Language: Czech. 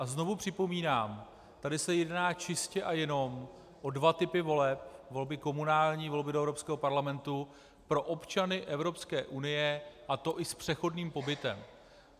A znovu připomínám, tady se jedná čistě a jenom o dva typy voleb - volby komunální, volby do Evropského parlamentu pro občany Evropské unie, a to i s přechodným pobytem.